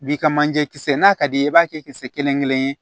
Bi ka manje kisɛ n'a ka d'i ye i b'a kɛ kisɛ kelen kelen ye